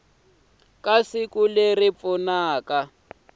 ka siku leri pfunaka ku